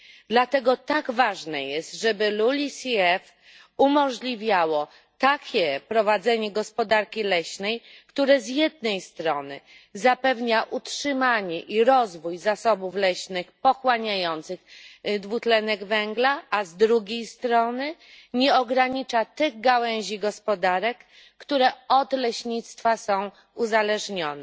Dlatego tak ważne jest, żeby LULUCF umożliwiało takie prowadzenie gospodarki leśnej, które z jednej strony zapewnia utrzymanie i rozwój zasobów leśnych pochłaniających dwutlenek węgla, a z drugiej strony nie ogranicza tych gałęzi gospodarek, które od leśnictwa są uzależnione.